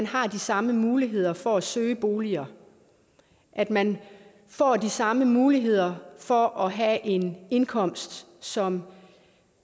har de samme muligheder for at søge bolig og at man får de samme muligheder for at have en indkomst som